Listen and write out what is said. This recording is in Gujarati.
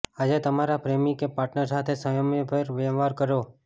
આજે તમારા પ્રેમી કે પાર્ટનર સાથે સંયમભર્યો વ્યવહાર રાખો